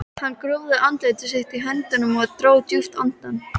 Hann grúfði andlit sitt í höndunum og dró djúpt andann.